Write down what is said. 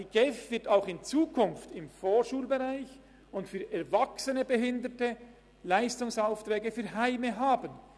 Die GEF wird auch in Zukunft im Vorschulbereich und für erwachsene Behinderte Leistungsaufträge für Heime